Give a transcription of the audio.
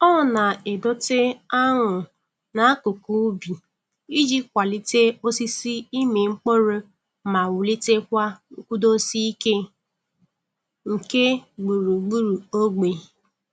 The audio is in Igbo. Ọ na-edote añụ n'akụkụ ubi iji kwalite osisi ịmị mkpụrụ ma wulitekwa nkwudosi ike nke gburu gburuogbe.